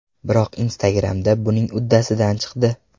Biroq Instagramda buning uddasidan chiqdi.